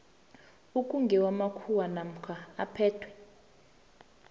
okungewamakhuwa namkha aphethwe